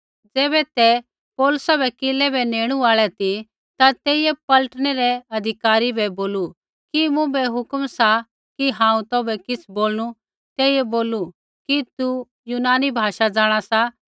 ज़ैबै ते पौलुसा बै किलै बै नेणू आल़ै ती ता तेइयै पलटनै रै अधिकारी बै बोलू कि मुँभै हुक्म सा कि हांऊँ तौभै किछ़ बोलणू तेइयै बोलू कि तू यूनानी भाषा जाँणा सा